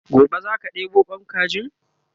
gobe zaka ɗebo Kwan kajin?